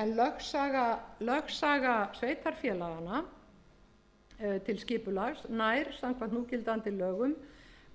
lögsaga sveitarfélaganna til skipulags nær samkvæmt núgildandi lögum